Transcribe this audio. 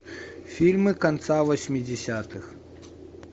фильмы конца восьмидесятых